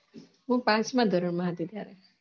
હુ પાંચ મા ધોરન મા હતી ત્યારે